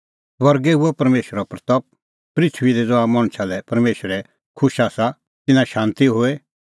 स्वर्गै हुई परमेशरे महिमां पृथूई दी ज़हा मणछा लै परमेशर खुश आसा तिन्नां शांती होए